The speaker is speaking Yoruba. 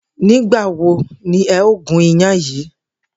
Nì́gbà wo ni e̩ óò gún iyán yìí?